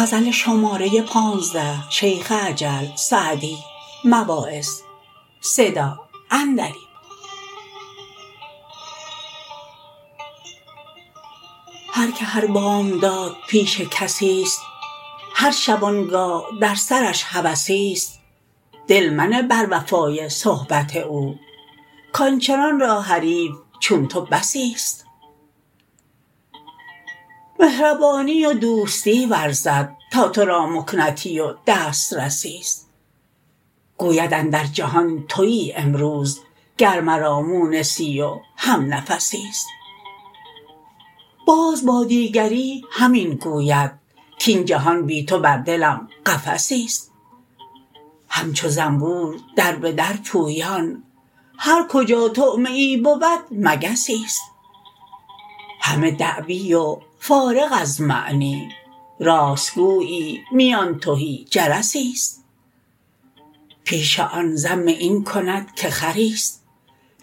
هر که هر بامداد پیش کسیست هر شبانگاه در سرش هوسیست دل منه بر وفای صحبت او کآنچنان را حریف چون تو بسیست مهربانی و دوستی ورزد تا تو را مکنتی و دسترسیست گوید اندر جهان تویی امروز گر مرا مونسی و همنفسیست باز با دیگری همین گوید کاین جهان بی تو بر دلم قفسیست همچو زنبور در به در پویان هر کجا طعمه ای بود مگسیست همه دعوی و فارغ از معنی راست گویی میان تهی جرسیست پیش آن ذم این کند که خریست